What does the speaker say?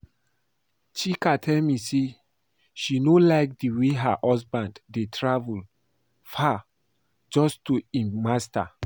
Chika tell me say she no like the way her husband dey travel far just to do im Masters